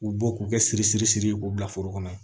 U bɔ k'u kɛ siri siri siri k'u bila foro kɔnɔ